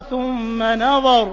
ثُمَّ نَظَرَ